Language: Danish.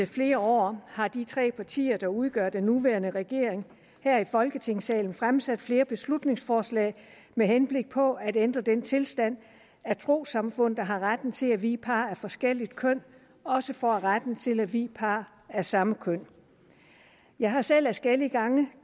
flere år har de tre partier der udgør den nuværende regering her i folketingssalen fremsat flere beslutningsforslag med henblik på at ændre den tilstand at trossamfund der har retten til at vie par af forskelligt køn også får retten til at vie par af samme køn jeg har selv adskillige gange